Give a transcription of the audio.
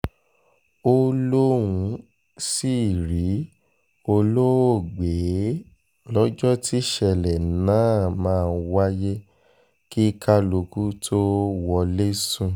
ó lóun sì rí olóògbé lọ́jọ́ tíṣẹ̀lẹ̀ náà náà máa wáyé kí kálukú tóo wọlé sùn